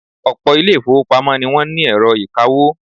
Ọ̀pọ̀ ilé-ìfowópamọ́ ni wọ́n ní ẹ̀rọ ìkawó.